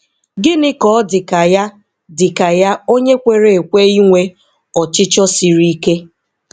Gịnị ka ọ dị ka ya dị ka ya onye kwere ekwe inwe "ọchịchọ sịrị ike?"